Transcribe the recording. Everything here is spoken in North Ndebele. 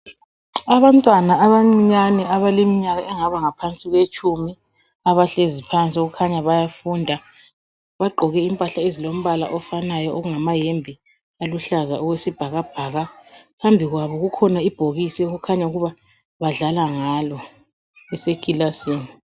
Abantwana abancinyane, abaleminyaka engaba ngaphansi kwetshumi. Abahlezi phansi. Okukhanya ukuthi bayafunda. Bagqoke impahla ezilombala ofanayo, okungamayembe aluhlaza, okwesibhakabhaka. Phambi kwabo kukhona ibhokisi, okukhanya ukuthi badlala ngalo ekilasini.